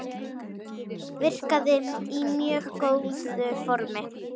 Virkaði í mjög góðu formi.